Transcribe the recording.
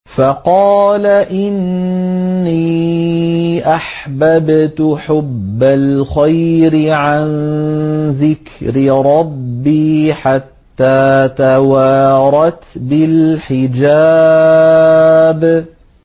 فَقَالَ إِنِّي أَحْبَبْتُ حُبَّ الْخَيْرِ عَن ذِكْرِ رَبِّي حَتَّىٰ تَوَارَتْ بِالْحِجَابِ